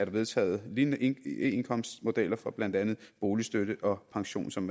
vedtaget lignende eindkomst modeller for blandt andet boligstøtte og pension som